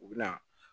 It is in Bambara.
U bɛ na